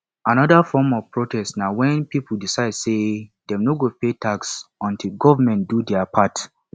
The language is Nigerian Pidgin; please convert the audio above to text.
another form of protest na when pipo decide say dem no go pay tax until government do their part